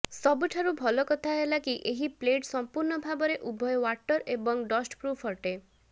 ସବୁଠାରୁ ଭଲ କଥା ହେଲା କି ଏହି ପ୍ଲେଟ ସଂପୂର୍ଣ୍ଣ ଭାବରେ ଉଭୟ ୱାଟର ଏବଂ ଡଷ୍ଟପ୍ରୁଫ୍ ଅଟେ